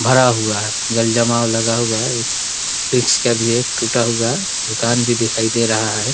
भरा हुआ है जल जाम लगा हुआ है बृक्ष का भी एक टूटा हुआ दुकान भी दिखाई दे रहा है|